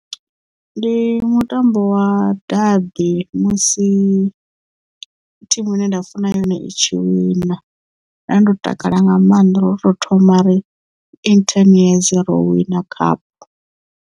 Ndi mutambo wa dade musi thimu ine nda funa yone i tshi wina nda ndo takala nga maanḓa lwo u to thoma in ten year ro wina khaphu.